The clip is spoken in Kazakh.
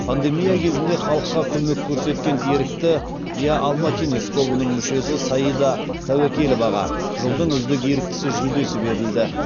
пандемия кезінде халыққа көмек көрсеткен ерікті я алматинец тобының мүшесі саида тәуекеловаға жылдың үздік еріктісі жүлдесі берілді